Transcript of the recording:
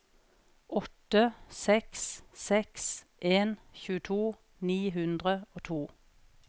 åtte seks seks en tjueto ni hundre og to